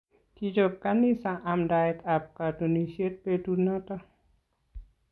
Kichop kanisa amndaet ab katunisiet betut noto